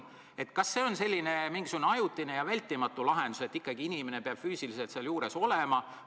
Kas see on mingisugune ajutine ja vältimatu lahendus, et ikkagi inimene peab füüsiliselt seal juures olema?